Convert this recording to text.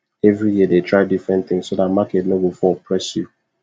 every year dey try different thing so that market nor go fall press you